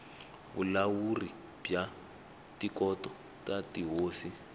vulawuri bya tikhoto ta tihosi